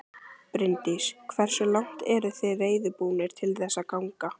Bryndís: Hversu langt eruð þið reiðubúnir til þess að ganga?